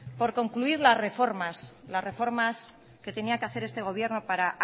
por concluir las reformas que tenía que hacer este gobierno para